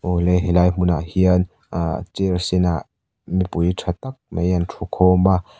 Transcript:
awle helai hmunah hian ahh chair sen ah mipui tha tak mai ang thu khawm a.